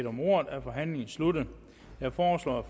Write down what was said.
om ordet er forhandlingen sluttet jeg foreslår at